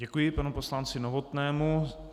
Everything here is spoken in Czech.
Děkuji panu poslanci Novotnému.